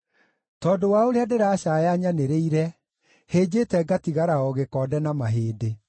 Tondũ wa ũrĩa ndĩracaaya nyanĩrĩire, hĩnjĩte ngatigara o gĩkonde na mahĩndĩ.